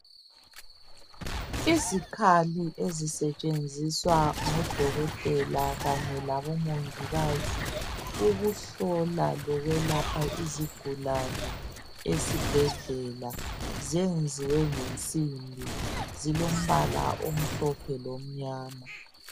Izikhali ezisetshenziswa ngodokotela Kanye labomongikazi ukuhlola lokwelapha izigulane esibhedlela. Zenziwe ngensimbi zilombala omhlophe lomnyama.